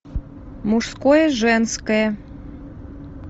мужское женское